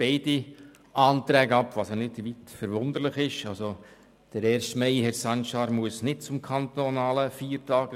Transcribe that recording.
Nun, wir wollen den Ersten Mai nicht als Feiertag.